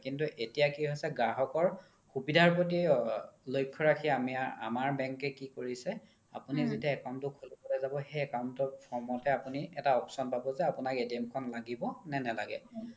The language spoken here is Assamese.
কিন্তু এতিয়া কি হৈছে গ্ৰাহকৰ সুবিধাৰ প্ৰতি লক্শ্যা ৰাখি আমাৰ bank কে কি কৰিছে আপোনি যেতিয়া account তো খুলিব লে যাব সেই account ত form তে আপোনি এটা option পাব যে আপোনাক খন লাগিব নে নালাগে